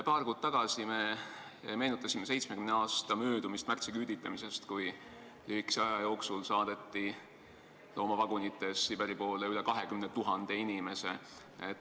" Paar kuud tagasi me meenutasime 70 aasta möödumist märtsiküüditamisest, kui lühikese aja jooksul saadeti loomavagunites Siberi poole üle 20 000 inimese.